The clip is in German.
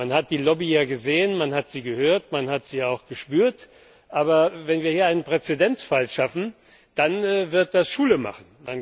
Man hat die Lobby ja gesehen, man hat sie gehört, man hat sie auch gespürt, aber wenn wir hier einen Präzedenzfall schaffen, dann wird das Schule machen.